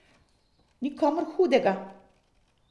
Nikomur hudega?